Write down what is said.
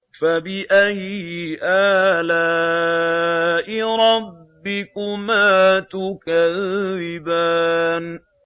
فَبِأَيِّ آلَاءِ رَبِّكُمَا تُكَذِّبَانِ